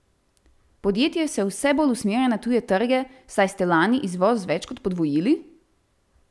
Podjetje se vse bolj usmerja na tuje trge, saj ste lani izvoz več kot podvojili?